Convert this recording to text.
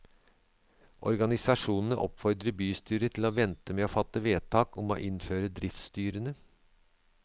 Organisasjonene oppfordrer bystyret til å vente med å fatte vedtak om å innføre driftsstyrene.